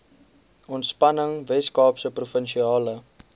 ontspanning weskaapse provinsiale